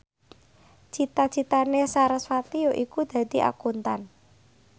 cita citane sarasvati yaiku dadi Akuntan